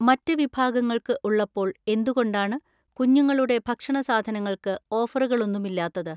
മറ്റ് വിഭാഗങ്ങൾക്ക് ഉള്ളപ്പോൾ എന്തുകൊണ്ടാണ് കുഞ്ഞുങ്ങളുടെ ഭക്ഷണ സാധനങ്ങൾക്ക് ഓഫറുകളൊന്നുമില്ലാത്തത്?